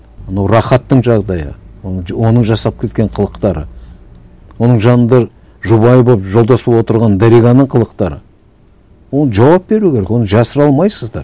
анау рахаттың жағдайы оның оның жасап кеткен қылықтары оның жанында жұбайы болып жолдас болып отырған дариғаның қылықтары оны жауап беру керек оны жасыра алмайсыздар